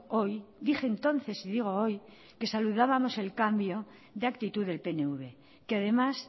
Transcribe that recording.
hoy dije entonces y digo hoy que saludábamos el cambio de actitud del pnv que además